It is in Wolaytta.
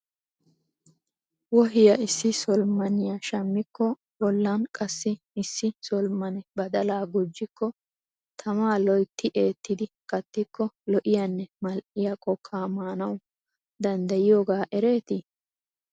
Wohiyaa issi solomoniya shammikko a bollan qassi issi solomone badalaa gujjikko tamaa loytti eettidi kattiko lo'iyanne mal'iya kookkaa manaw danddayiyooga ereetii?